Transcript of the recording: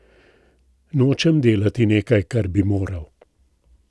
Nočem delati nekaj, kar bi moral.